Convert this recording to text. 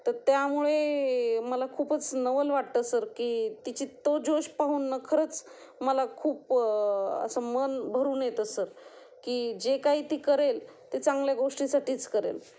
तर त्यामुळे मला खूपच नवल वाटतं सर की तो जोश पाहून खरंच मला खूप असं मन भरून येतं सर, की जे काही ती करेल ते चांगल्या गोष्टी साठीच करेल